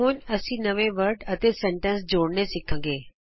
ਹੁਣ ਅਸੀਂ ਨਵੇਂ ਸ਼ਬਦ ਅਤੇ ਵਾਕ ਜੋੜਨੇ ਸਿੱਖਾਂਗੇ